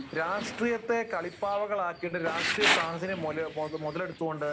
രാഷ്ട്രീയത്തെ കളിപ്പാവകളാക്കി, രാഷ്ട്രീയ സാഹചര്യം മുതലെടുത്തുകൊണ്ട്